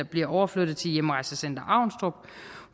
bliver overflyttet til hjemrejsecenter avnstrup